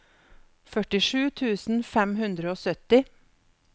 førtisju tusen fem hundre og sytti